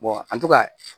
an to ka